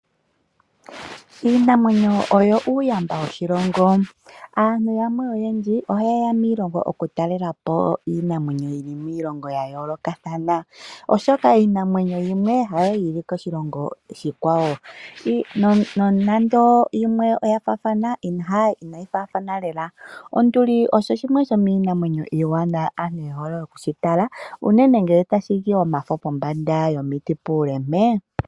Iinamwenyo oyo uuyamba woshilongo. Aantu yamwe oyendji oha ye ya miilongo oku talela po iinamwenyo yili miilongo yayoolokathana oshoka iinamwenyo yimwe ha yo yili koshilongo oshikwawo, nonando yimwe oya faathana inayi faathana lela. Onduli osho shimwe shomiinamwenyo iiwanawa ano oku shitala unene ngele tashi li omafo pombanda puule mpee.